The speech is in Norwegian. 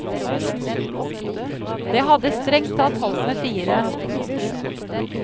Det hadde strengt tatt holdt med fire.